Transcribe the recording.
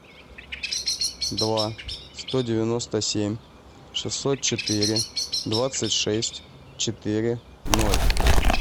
два сто девяносто семь шестьсот четыре двадцать шесть четыре ноль